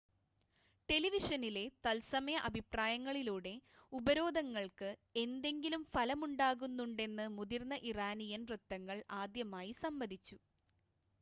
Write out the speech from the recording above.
ടെലിവിഷനിലെ തത്സമയ അഭിപ്രായങ്ങളിലൂടെ ഉപരോധങ്ങൾക്ക് എന്തെങ്കിലും ഫലമുണ്ടാകുന്നുണ്ടെന്ന് മുതിർന്ന ഇറാനിയൻ വൃത്തങ്ങൾ ആദ്യമായി സമ്മതിച്ചു